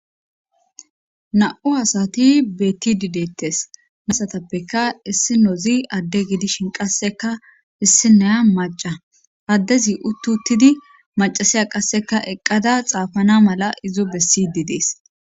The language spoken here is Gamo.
Na'u asati bettidi deettes asatappeka issinozi adde gidishin qasseka issinaya maca addezi uttuttidi macasiya qasseka eqqada xaafana mala izo bessidi dees